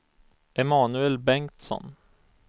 Emanuel Bengtsson